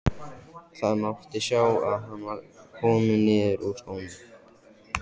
Það mátti sjá að hann var kominn niður úr skónum.